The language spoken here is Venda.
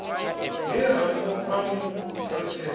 he rambo a mu ṱalutshedza